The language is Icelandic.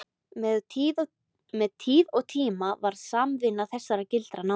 Með tíð og tíma varð samvinna þessara gilda nánari.